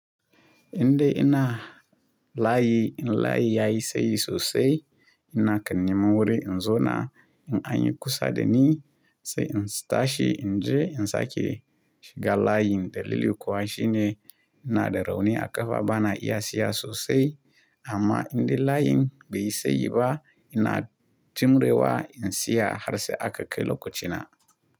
Indai ina layi in layi yayi sayi sosai ina kan nemi wuri in zo na in anyi kusa da ni sai in sitashi in je in sake shiga layin dalili kuwan shi ne ina da rauni a ƙafa bana iya siya sosai amma indai layin bai yi sayi ba ina tumrewa in siya har sai aka kai lokaci na.